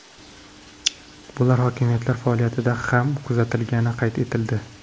Bular hokimiyatlar faoliyatida ham kuzatilgani qayd etildi.